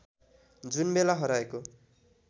जुनबेला हराएको